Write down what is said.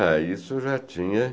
Ah, isso já tinha..